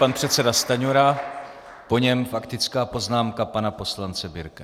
Pan předseda Stanjura, po něm faktická poznámka pana poslance Birkeho.